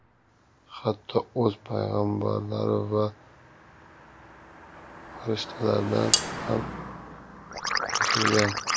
Hatto o‘z payg‘ambarlari va farishtalaridan ham yashirgan.